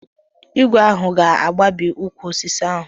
Igwe m ahụ ga-agbabi ụkwụ osisi ahụ.